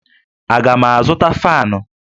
Aga m azụta faanụ?